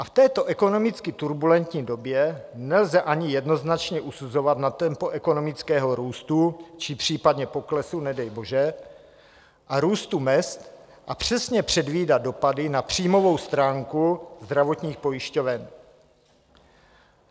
A v této ekonomicky turbulentní době nelze ani jednoznačně usuzovat na tempo ekonomického růstu, či případně poklesu, nedej bože, a růstu mezd a přesně předvídat dopady na příjmovou stránku zdravotních pojišťoven.